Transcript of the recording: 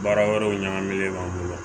Baara wɛrɛw ɲagaminen b'an bolo